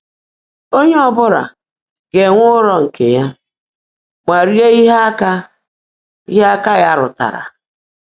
Ónyé ọ bụla ga-enwé ụlọ nkè yá mà ríe íhe ákà íhe ákà yá rútárá.